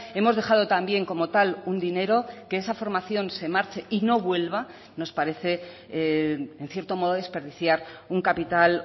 hemos dejado también como tal un dinero que esa formación se marche y no vuelva nos parece en cierto modo desperdiciar un capital